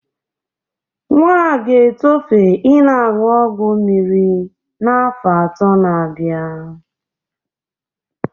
Nwa a ga-etofe i na-aṅụ ọgwọ mmiri n'afọ ato na-abia.